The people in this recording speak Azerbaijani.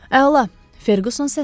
Əla, Ferkuson səsləndi.